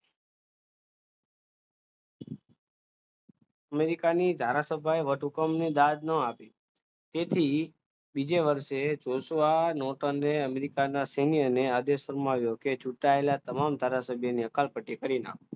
અમેરિકાની ધારાસભ્ય વટ હુકમ દાદ ન આપે તેથી બીજે વર્ષે અમેરિકાના સિનિયરને આદેશ ફરમાવ્યો કે છૂટાવેલા તમામ ધારાસભ્યને અકાલ પટ્ટી કરી નાખતા